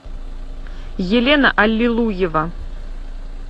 елена аллилуева